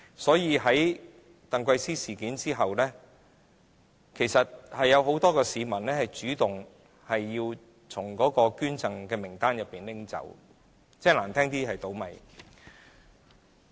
所以，在鄧桂思事件後，其實令很多市民主動要求把自己的名字從捐贈名單中剔除。